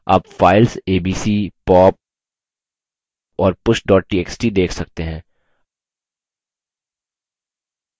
आप files abc pop और push txt देख सकते हैं